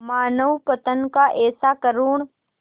मानवपतन का ऐसा करुण